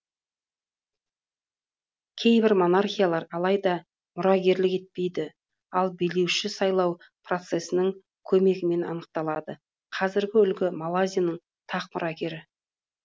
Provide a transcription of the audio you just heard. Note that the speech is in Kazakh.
кейбір монархиялар алайда мұрагерлік етпейді ал билеуші сайлау процесінің көмегімен анықталады қазіргі үлгі малайзияның тақ мұрагері